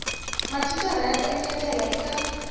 mathicara va ta engetela eka